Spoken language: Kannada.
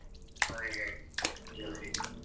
ಮನೆಗೆ use ಗೆ.